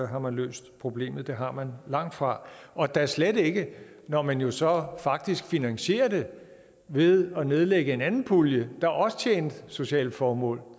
har man løst problemet for det har man langtfra og da slet ikke når man jo så faktisk finansierer det ved at nedlægge en anden pulje der også tjente sociale formål